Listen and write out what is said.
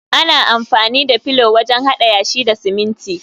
ana amfani da felu wajen hada yashi da siminti